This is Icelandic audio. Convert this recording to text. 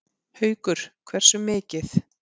Haukur: Hversu mikið?